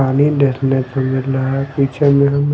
पानी देखने को मिल रहा हैपीछे में हम--